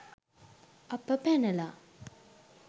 අප පැනලා